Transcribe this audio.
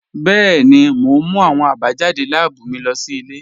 Bẹẹ̀ni, mo n mú awọn abajadé láàbú mí lọ sí ilẹ̀.